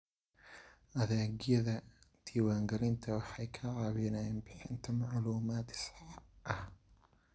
Adeegyada diwaangelintu waxay ka caawiyaan bixinta macluumaad sax ah.